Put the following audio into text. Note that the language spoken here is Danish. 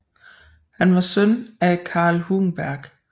Han var søn af Karl Hugenberg